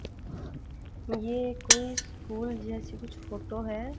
ये कोई स्कूल जैसी कुछ फोटो है।